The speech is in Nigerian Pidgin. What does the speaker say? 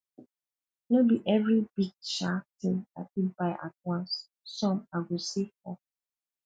no be every big um thing i fit buy at once some i go save for